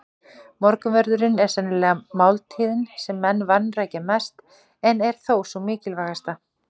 Morgunverðurinn er sennilegast máltíðin sem menn vanrækja mest en er þó sú mikilvægasta.